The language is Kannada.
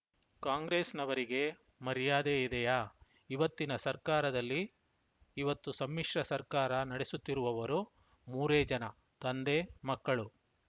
ಕಾಂಗ್ರೆಸ್‌ನವರಿಗೆ ಮರ್ಯಾದೆ ಇದೆಯಾ ಇವತ್ತಿನ ಸರ್ಕಾರದಲ್ಲಿ ಇವತ್ತು ಸಮ್ಮಿಶ್ರ ಸರ್ಕಾರ ನಡೆಸುತ್ತಿರುವವರು ಮೂರೇ ಜನ ತಂದೆಮಕ್ಕಳು